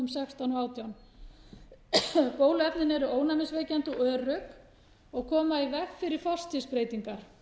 sextán og átján bóluefnin eru ónæmisvekjandi og örugg og koma í veg fyrir forstigsbreytingar